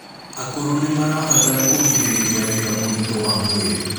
akũrũ nimarabatara kũgirĩrĩrĩa wĩra muritu wa mwĩrĩ